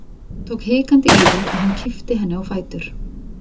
Hún tók hikandi í þær og hann kippti henni á fætur.